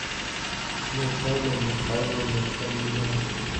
наталья михайловна фомина